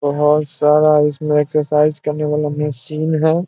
बहुत सारा इसमें एक्सरसाइज करने वाला मशीन है।